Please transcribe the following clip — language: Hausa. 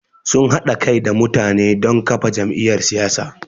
Sun haɗa kai da mutane don kafa jam’iyyar siyasa.